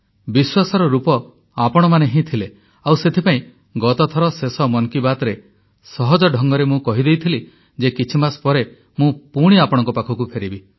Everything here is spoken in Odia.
ବିଶ୍ୱାସର ରୂପ ଆପଣମାନେ ହିଁ ଥିଲେ ଆଉ ସେଥିପାଇଁ ଗତଥର ଶେଷ ମନ୍ କି ବାତ୍ରେ ସହଜ ଢଙ୍ଗରେ ମୁଁ କହି ଦେଇଥିଲି ଯେ କିଛିମାସ ପରେ ମୁଁ ପୁଣି ଆପଣଙ୍କ ପାଖକୁ ଫେରିବି